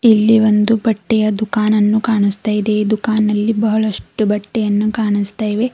ಇಲ್ಲಿ ಒಂದು ಬಟ್ಟೆಯ ದುಕಾನನ್ನು ಕಾಣಿಸ್ತಾ ಇದೆ ಈ ದುಕಾನನಲ್ಲಿ ಬಹಳಷ್ಟು ಬಟ್ಟೆಯನ್ನು ಕಾಣಿಸ್ತಾ ಇವೆ.